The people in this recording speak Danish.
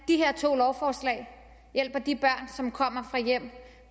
de her to lovforslag hjælper de børn som kommer fra hjem